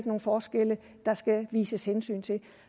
nogle forskelle der skal tages hensyn til